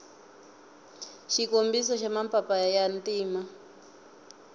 xikombiso xa mapapa ya ntima